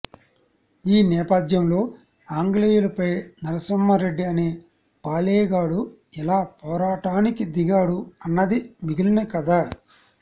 ఈ నేపథ్యంలో ఆంగ్లేయులు పై నరసింహ రెడ్డి అనే పాలేగాడు ఎలా పోరాటానికి దిగాడు అన్నది మిగిలిన కథ